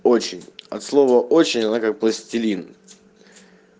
очень от слова очень она как пластилин